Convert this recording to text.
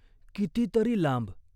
किती तरी लांब.